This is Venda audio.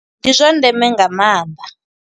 Ndi zwa ndeme nga maanḓa.